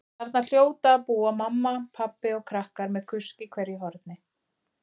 Þarna hljóta að búa mamma, pabbi og krakkar með kusk í hverju horni.